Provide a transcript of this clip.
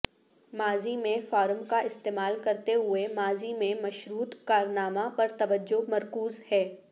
ماضی میں فارم کا استعمال کرتے ہوئے ماضی میں مشروط کارنامہ پر توجہ مرکوز ہے